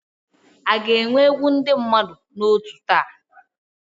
A ga-enwe egwu ndị mmadụ na otú taa?